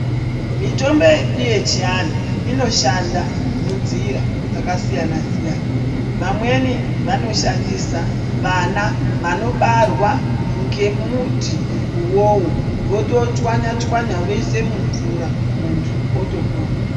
Mitombo yedu yechiantu inoshanda munzira dzakasiyana-siyana. Vamweni vanoshandisa vana vanobarwa ngemuti uwowo voto chwanya-chwanya voise mumvura, muntu otopona.